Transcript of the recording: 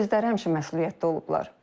Özləri həmişə məsuliyyətli olublar.